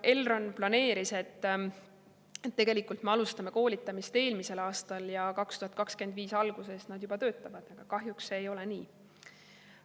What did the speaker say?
Elron planeeris, et koolitamist alustatakse eelmisel aastal ja 2025. aasta algusest nad juba töötavad, aga kahjuks see ei ole nii.